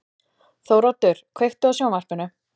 Þóroddur, kveiktu á sjónvarpinu.